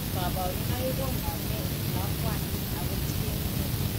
Kabarunaik koname en lakwandit ago tien gee